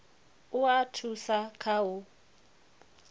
u a thusa kha u